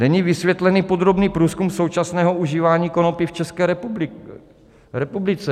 Není vysvětlený podrobný průzkum současného užívání konopí v České republice.